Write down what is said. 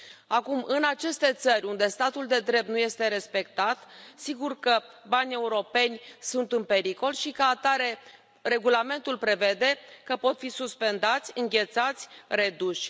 Acum, în aceste țări unde statul de drept nu este respectat, sigur că banii europeni sunt în pericol și, ca atare, regulamentul prevede că pot fi suspendați, înghețați, reduși.